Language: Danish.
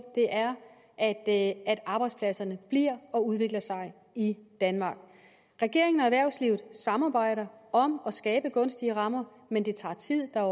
at at arbejdspladserne bliver og udvikler sig i danmark regeringen og erhvervslivet samarbejder om at skabe gunstige rammer men det tager tid der er